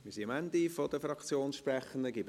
Wir sind am Ende der Fraktionssprechenden angelangt.